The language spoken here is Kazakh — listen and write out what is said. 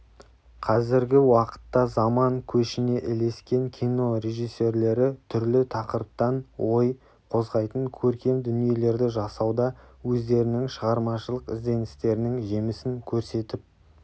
қазіргі уақытта заман көшіне ілескен кино режиссерлері түрлі тақырыптан ой қозғайтын көркем дүниелерді жасауда өздерінің шығармашылық ізденістерінің жемісін көрсетіп